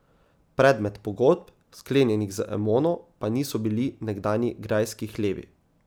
Predmet pogodb, sklenjenih z Emono, pa niso bili nekdanji grajski hlevi.